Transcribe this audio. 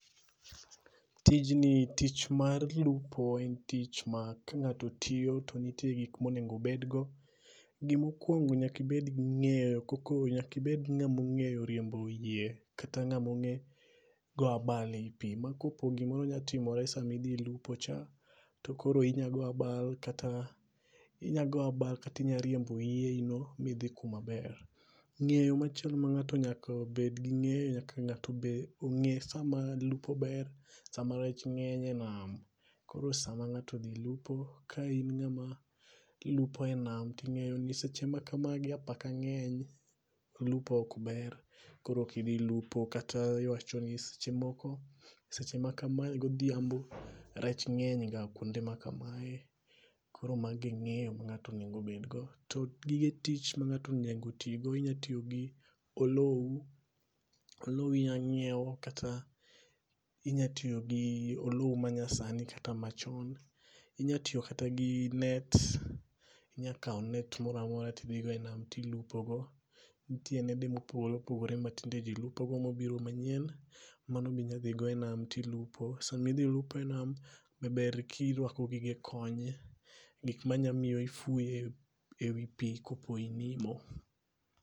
Tijni, tich mar lupo en tich ma kangáto tiyo to nitie gik monego obed go. Gima okwongo nyaka ibedgi ngéyo koka, nyaka ibed gi ngáma ongéyo riembo yie kata ngáma ongé goyo abal ei pi. Ma ka opo gimoro nyalo timore sama idhi lupo cha, to koro inya goyo abal kata, inya goyo abal kata inya riembo yiei no midhi kuma ber. Ngéyo machielo ma ngáto nyaka obedgo, nyaka ngáto obed, ongé sama lupo ber, sama rech ngény e nam. Koro sama ngáto odhi lupo, ka in ngáma lupo e nam, to ingé ni sama kama apaka ngény, lupo ok ber. Koro ok idhi lupo, kata iwacho ni seche moko seche makamae godhiambi rech ngény ga kuonde ma kamae. Koro mago e ngéyo ma ngáto onego obed go. To gige tich ma ngáto onego ti go, inyalo tiyo gi olou, olou inyalo nyiewo, kata inyalo tiyo gi olou ma nyasani, kata machon. Inya tiyo kata gi net. Inya kawo net moramora, ti dhi go e name tilupo go. Nitie nede mopogore opogore ma tinde ji lupo go, mobiro manyien mano ne inya dhi go e nam to lupo go. Sama idhi lupo e nam, to ber ka irwako gige kony, gik manya miyo ifuyo e, e wi pi ka po inimo.